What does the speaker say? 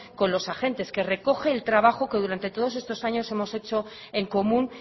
con los agentes que recoge el trabajo que durante todos estos años hemos hecho en común